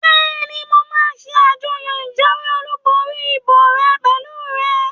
Bẹ́ẹ̀ni, mo máa ṣe àjọyọ̀ ìjáwé olùborí ìbò rẹ pẹ̀lú rẹ